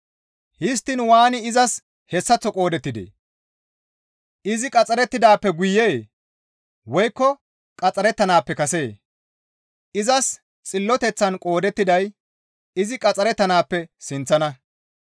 Histtiin waani izas hessaththo qoodettidee? Izi qaxxarettidaappe guyee? Woykko qaxxarettanaappe kasee? Izas xilloteththan qoodettiday izi qaxxarettanaappe sinththana.